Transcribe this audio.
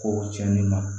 Ko cɛnni ma